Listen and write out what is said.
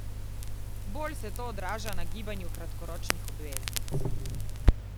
Bolj se to odraža na gibanju kratkoročnih obveznic.